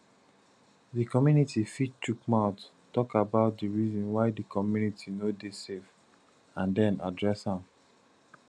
di community fit chook mouth talk about di reason why di community no dey safe and then address am